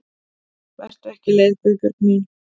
Vertu ekki leið Guðbjörg mín.